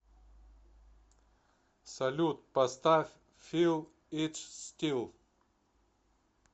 салют поставь фил ит стил